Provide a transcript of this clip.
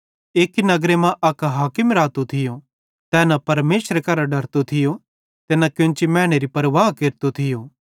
एक्की नगर मां अक हाकिम रातो थियो तै न परमेशरे करां डरतो थियो ते न कोन्ची मैनेरी परवाह केरतो थियो